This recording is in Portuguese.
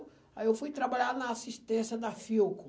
Aí eu fui trabalhar na assistência da Filco.